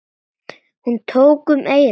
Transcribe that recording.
Hún tók um eyrun.